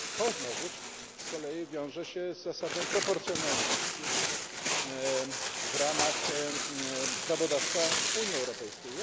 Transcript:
To znowu z kolei wiąże się z zasadą proporcjonalności w ramach prawodawstwa Unii Europejskiej.